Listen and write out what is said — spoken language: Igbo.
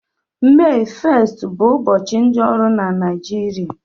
Mee 1st bụ ụbọchị ndị ọrụ na Naịjirịa